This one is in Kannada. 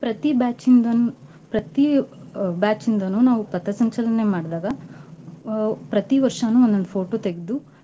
ಪ್ರತೀ batch ಇಂದನು ಪ್ರತೀ ಆ batch ಇಂದನು ನಾವು ಪಥಸಂಚಲನೆ ಮಾಡ್ದಾಗ ಆ ಪ್ರತೀ ವರ್ಷಾನೂ ಒಂದೊಂದ್ photo ತೆಗ್ದು.